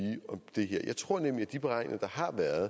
det her jeg tror nemlig at de beregninger der har været